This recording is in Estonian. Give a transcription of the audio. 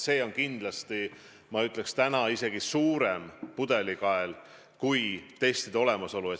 See on kindlasti isegi suurem pudelikael kui testide vähesus.